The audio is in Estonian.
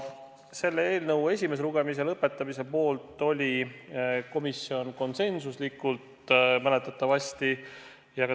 Selle eelnõu esimese lugemise lõpetamise poolt oli komisjon mäletatavasti konsensuslikult.